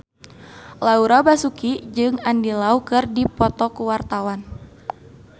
Laura Basuki jeung Andy Lau keur dipoto ku wartawan